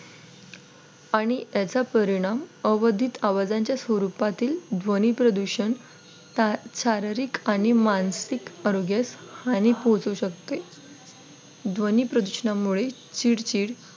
आणि याचा परिणाम अवधित आवाजांच्या स्वरूपातील ध्वनी प्रदूषण शारीरिक आणि मानसिक आरोग्यास हानी पोहोचू शकते ध्वनी प्रदूषणामुळे चिडचिड